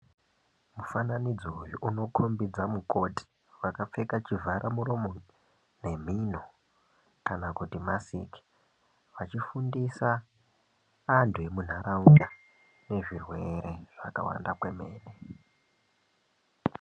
Mufananidzo uyu unokombedza mukoti vakapfeka chivhara muromo nemhino kanakuti masiki vechifundisa andu emundaraunda nezverwere zvakawanda kwemene .